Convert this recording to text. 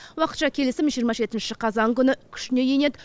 уақытша келісім жиырма жетінші қазан күні күшіне енеді